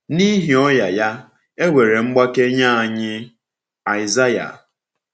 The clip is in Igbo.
“N’ihi ọnya ya, e nwere mgbake nye anyị.” — Aịsaịa.